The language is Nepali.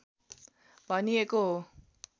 भनिएको हो